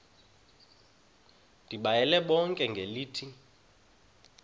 ndibayale bonke ngelithi